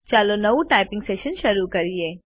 ચાલો નવું typing session શરૂ કરીએ